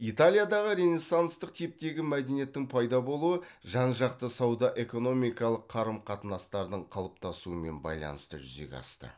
италиядағы ренессанстық типтегі мәдениеттің пайда болуы жанжақты сауда экономикалық қарым қатынастардың қалыптасуымен байланысты жүзеге асты